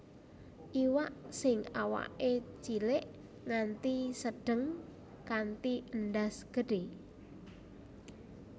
Iwak sing awaké cilik nganti sedheng kanthi endhas gedhÉ